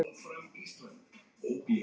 Býður einstaklingum hagstæð framkvæmdalán